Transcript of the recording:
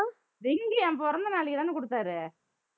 ring என் பிறந்த நாளைக்குதானே குடுத்தாரு